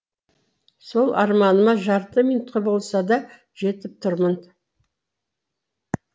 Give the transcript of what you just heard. сол арманыма жарты минутке болса да жетіп тұрмын